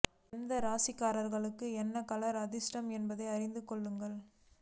எந்த ராசிக்காரர்களுக்கு என்ன கலர் அதிர்ஷடம் என்பதை அறிந்து கொள்ளுங்கள்